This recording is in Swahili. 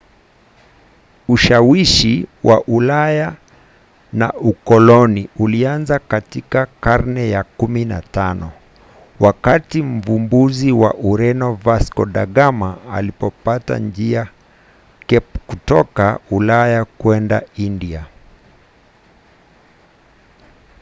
ushawishi wa ulaya na ukoloni ulianza katika karne ya 15 wakati mvumbuzi wa ureno vasco da gama alipopata njia cape kutoka ulaya kwenda india